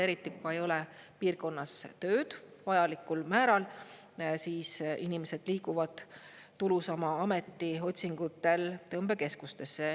Eriti kui ei ole piirkonnas tööd vajalikul määral, siis inimesed liiguvad tulusama ameti otsingutel tõmbekeskustesse.